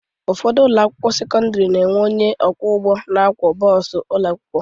Ụfọdụ ụlọakwụkwọ sekọndịrị na-enwe onye ọkwọụgwụ na-akwọ bọọsụ ụlọakwụkwọ